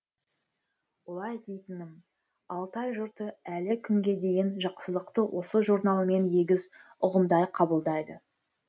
олай дейтінім алтай жұрты әлі күнге дейін жақсылықты осы журналмен егіз ұғымдай қабылдайды